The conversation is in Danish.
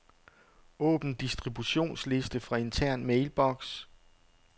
Åbn distributionsliste fra intern mailbox.